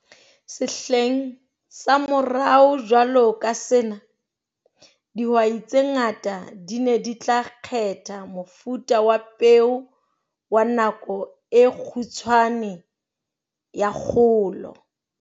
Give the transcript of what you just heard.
Sehleng sa morao jwalo ka sena, dihwai tse ngata di ne di tla kgetha mofuta wa peo wa nako e kgutshwane ya kgolo.